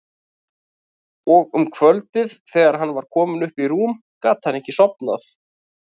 Og um kvöldið þegar hann var kominn upp í rúm gat hann ekki sofnað.